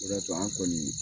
O de ya to an kɔni